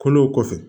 Kolo kɔfɛ